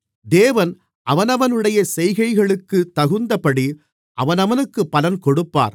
தேவன் அவனவனுடைய செய்கைகளுக்குத் தகுந்தபடி அவனவனுக்குப் பலன் கொடுப்பார்